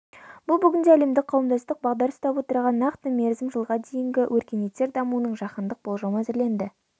бұл бүгінде әлемдік қауымдастық бағдар ұстап отырған нақты мерзім жылға дейінгі өркениеттер дамуының жаһандық болжамы әзірленді